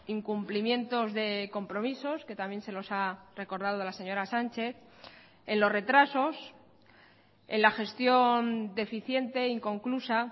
incumplimientos de compromisos que también se los ha recordado la señora sánchez en los retrasos en la gestión deficiente inconclusa